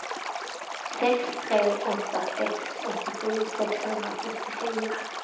sex tre åtta sex åttiosju sexhundrasjuttiofyra